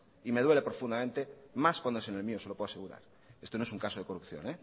y me duele profundamente más cuando es en el mío se lo puedo asegurar esto no es un caso de corrupción